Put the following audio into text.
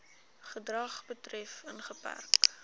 gedrag betref ingeperk